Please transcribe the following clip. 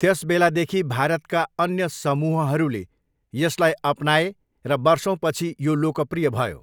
त्यसबेलादेखि भारतका अन्य समूहहरूले यसलाई अपनाए र वर्षौँपछि यो लोकप्रिय भयो।